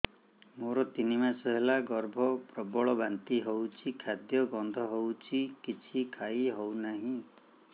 ମୋର ତିନି ମାସ ହେଲା ଗର୍ଭ ପ୍ରବଳ ବାନ୍ତି ହଉଚି ଖାଦ୍ୟ ଗନ୍ଧ ହଉଚି କିଛି ଖାଇ ହଉନାହିଁ